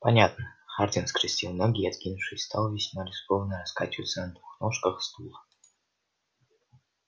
понятно хардин скрестил ноги и откинувшись стал весьма рискованно раскачиваться на двух ножках стула